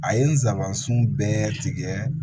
A ye nsabansun bɛɛ tigɛ